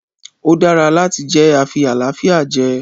ó dára láti jẹ afi-àlàáfíà-jẹ.